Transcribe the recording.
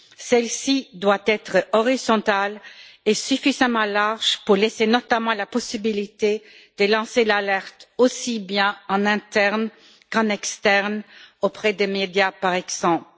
Celle ci doit être horizontale et suffisamment large pour laisser notamment la possibilité de lancer l'alerte aussi bien en interne qu'en externe, auprès des médias, par exemple.